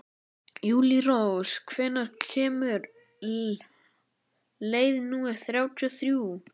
Júlírós, hvenær kemur leið númer þrjátíu og þrjú?